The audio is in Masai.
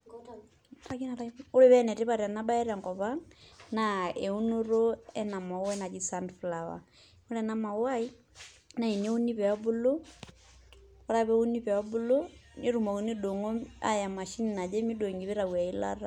Ore paa enetipat ena baye tenkop ang' naa eunoto ena mauai naji sunflower ore ena mauai naa eneuni pee ebulu ore ake pee euni pee ebulu netumokini aidong'i aaya emashini naje midong'i pee itayu eilata.